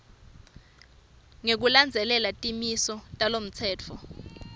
ngekulandzela timiso talomtsetfo